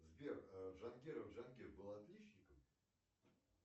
сбер джангиров джангир был отличником